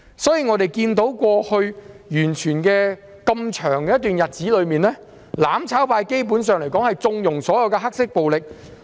在過去一段很長的日子中，我們看到"攬炒派"基本上縱容所有黑色暴力。